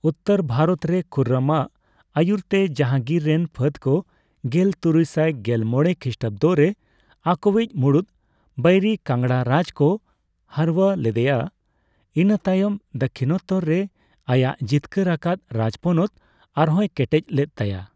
ᱩᱛᱛᱚᱨ ᱵᱷᱟᱨᱚᱛ ᱨᱮ ᱠᱷᱩᱨᱨᱚᱢᱟᱜ ᱟᱭᱩᱨᱛᱮ ᱡᱟᱦᱟᱝᱜᱤᱨ ᱨᱮᱱ ᱯᱷᱟᱹᱫᱽ ᱠᱚ ᱜᱮᱞ ᱛᱩᱨᱩᱭᱥᱟᱭ ᱜᱮᱞ ᱢᱚᱲᱮ ᱠᱷᱤᱥᱴᱟᱵᱽᱫᱚ ᱨᱮ ᱟᱠᱚᱣᱤᱡ ᱢᱩᱲᱩᱫ ᱵᱟᱹᱭᱨᱤ ᱠᱟᱝᱲᱟ ᱨᱟᱡᱽ ᱠᱚ ᱦᱟᱹᱨᱣᱟᱹ ᱞᱮᱫᱮᱭᱟ, ᱤᱱᱟᱹᱛᱟᱭᱚᱢ ᱫᱟᱠᱠᱷᱤᱱᱟᱛᱛᱚ ᱨᱮ ᱟᱭᱟᱜ ᱡᱤᱛᱠᱟᱹᱨ ᱟᱠᱟᱫ ᱨᱟᱡᱽ ᱯᱚᱱᱚᱛ ᱟᱨᱦᱚᱭ ᱠᱮᱴᱮᱡ ᱞᱮᱫ ᱛᱟᱭᱟ ᱾